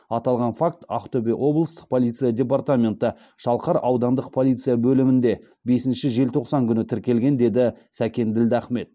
аталған факті ақтөбе облыстық полиция департаменті шалқар аудандық полиция бөлімінде бесінші желтоқсан күні тіркелген деді сәкен ділдахмет